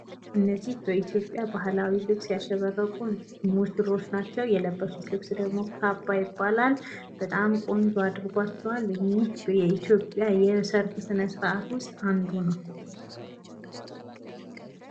እነዚህ በኢትዮጵያ ባህላዊ ልብስ ያሸበረቁ ሙሽሮች ናቸው። የለበሱት ልብስ ደግሞ ካባ ይባላል። በጣም ቆንጆ አድርጓቸዋል። ይህ የኢትዮጵያ የሰርግ ስነስርዓት ውስጥ አንዱ ነው።